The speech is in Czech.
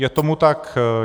Je tomu tak.